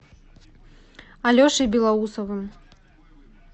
алешей белоусовым